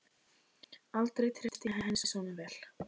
Aldrei treysti ég henni svona vel.